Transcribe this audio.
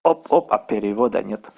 оп оп а перевода нет